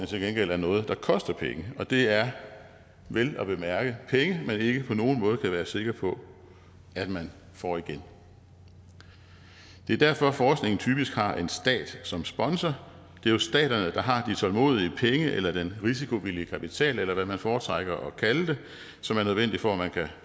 til gengæld er noget der koster penge og det er vel at mærke penge man ikke på nogen måde kan være sikker på at man får igen det er derfor at forskningen typisk har en stat som sponsor det er jo staterne der har de tålmodige penge eller den risikovillige kapital eller hvad man foretrækker at kalde det som er nødvendig for at man kan